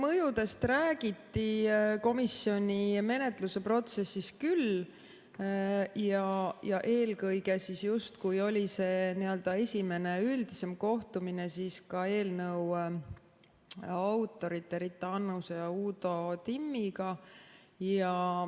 Mõjudest räägiti komisjoni menetluse protsessis küll ja eelkõige just, kui oli see esimene üldisem kohtumine, siis ka eelnõu autorite Rita Annuse ja Uudo Timmiga.